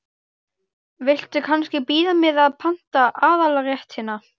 Viltu kannski bíða með að panta aðalréttina?